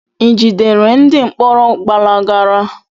I jidere ndị mkpọrọ gbalagara?